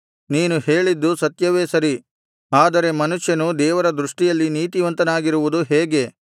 ನೀನು ಹೇಳಿದ್ದು ಸತ್ಯವೇ ಸರಿ ಆದರೆ ಮನುಷ್ಯನು ದೇವರ ದೃಷ್ಟಿಯಲ್ಲಿ ನೀತಿವಂತನಾಗಿರುವುದು ಹೇಗೆ